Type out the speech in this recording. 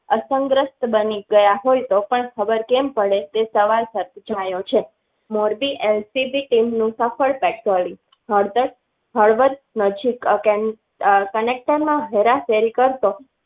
અસરગ્રસ્ત બની ગયા હોય તો પણ ખબર કેમ પડે તે સવાલ પૂછા યો છે. મોરબી LCB team patrolling નજીક connector માં હેરાફેરી કરતો